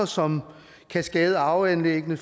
som kan skade arveanlæggene